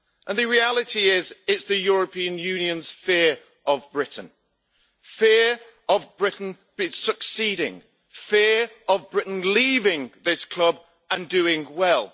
The reality is that it is the European Union's fear of Britain fear of Britain succeeding, fear of Britain leaving this club and doing well.